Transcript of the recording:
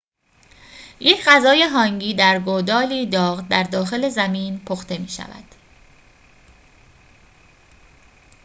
یک غذای هانگی در گودالی داغ در داخل زمین پخته می شود